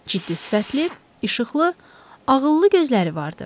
Ciddi sifətli, işıqlı, ağıllı gözləri vardı.